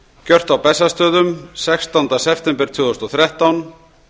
gjört á bessastöðum sextánda september tvö þúsund og þrettán